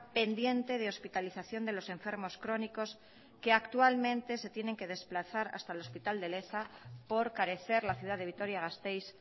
pendiente de hospitalización de los enfermos crónicos que actualmente se tienen que desplazar hasta el hospital de leza por carecer la ciudad de vitoria gasteiz